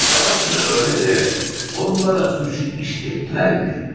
Orası elədir, amma onlara cinayəti törətdirən nədir?